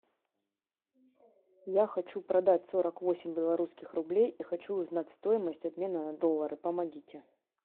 я хочу продать сорок восемь белорусских рублей и хочу узнать стоимость обмена на доллары помогите